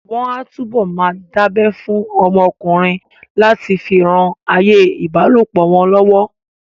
Wọ́n á túbọ̀ máa dábẹ́ fún ọmọ ọkùnrin láti fi ran ayé ìbálòpọ̀ wọn lọ́wọ́